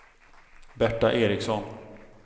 Berta Eriksson